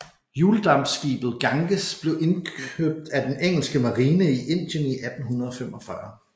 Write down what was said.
Hjuldampskibet Ganges blev købt af den engelske marine i Indien i 1845